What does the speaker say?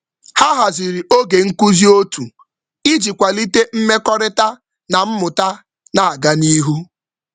Ha haziri oge nkuzi otu iji kwalite mmekọrịta na mmụta na-aga n’ihu.